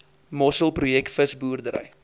mossel projek visboerdery